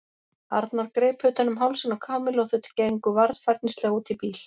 Arnar greip utan um hálsinn á Kamillu og þau gengu varfærnislega út í bíl.